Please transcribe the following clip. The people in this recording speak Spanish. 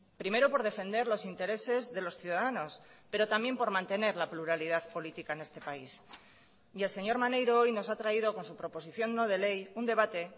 primero por defender los intereses de los ciudadanos pero también por mantener la pluralidad política en este país y el señor maneiro hoy nos ha traído con su proposición no de ley un debate